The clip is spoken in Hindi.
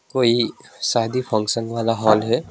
कोई शादी फंक्शन वाला हॉल है।